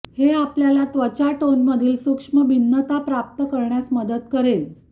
हे आपल्याला त्वचा टोनमधील सूक्ष्म भिन्नता प्राप्त करण्यास मदत करेल